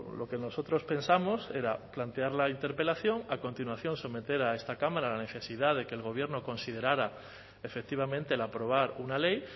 lo que nosotros pensamos era plantear la interpelación a continuación someter a esta cámara la necesidad de que el gobierno considerara efectivamente el aprobar una ley